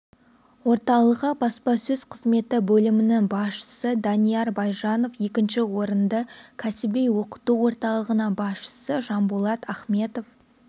орталығы баспасөз қызметі бөлімінің басшысы данияр байжанов екінші орынды кәсіби оқыту орталығының басшысы жанболат ахметов